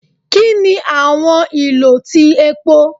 Kini awọn ilo ti epo?